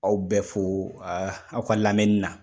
Aw bɛ fo aw ka lamɛnni na.